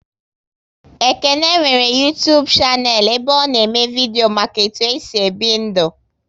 Ekene nwere Uytubu shanel ebe ọ na eme vidio maka etu e si ebi ndu